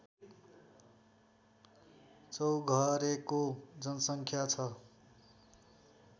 चौघरेको जनसङ्ख्या छ